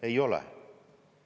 Ei ole.